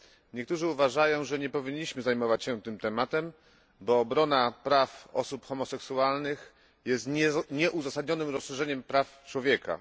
Niektórzy uważają, że nie powinniśmy zajmować się tym tematem, bo obrona praw osób homoseksualnych jest nieuzasadnionym rozszerzeniem praw człowieka.